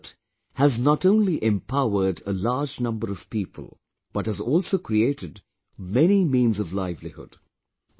This effort has not only empowered a large number of people, but has also created many means of livelihood